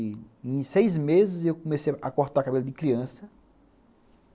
E em seis meses eu comecei a cortar cabelo de criança.